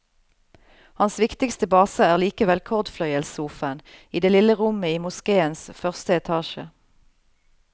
Hans viktigste base er likevel cordfløyelssofaen i det lille rommet i moskéens første etasje.